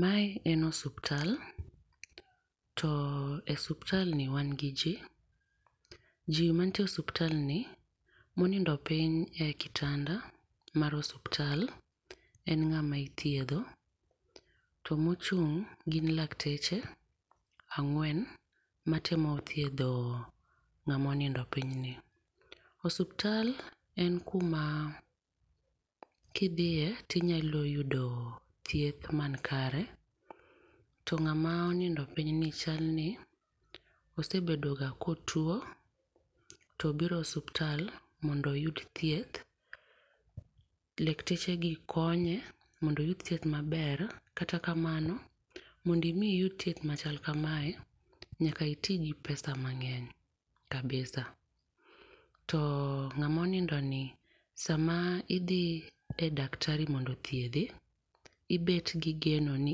Ma en osiptal, to osiptal ni wan gi ji, ji mantie e osiptal ni ma onindo piny e kitanda mar osipttl en ngama ithiedho to mochung gin lakteche angwen ma temo thiedho ng'ama onindo piny ni. Osiptal en ku ma ki idhiye ti inyalo yudo thieth man kare, To ng'ama onindo piny ni chal ni osebedo ga ka otuo to obiro osiptal mondo oyud thieth lakteche gi konye mondo mi oyud thieth ma ber .Kata kamano mondo mi iyud thieth ma chal kamae nyaka iti gi pesa mangeny kabisa. To ng'ama onindo ni sa ma idhi e daktari ni mondo othiedhi ibet gi geno ni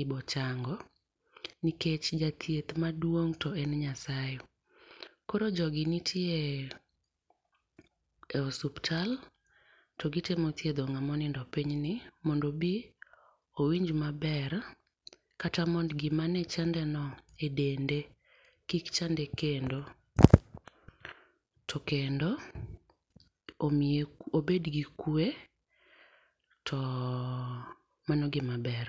ibiro chango nikech jathieth maduong to en Nyasaye. Koro jo gi nitie e osiptal mond to gi temo thiedho ng'ama onindo e piny ni mondo obi powinj ma ber kata mondo gi ma ne chande no e dende kik chande kendo. To kendo omiye obed gi kwe ,to mano gi ma ber.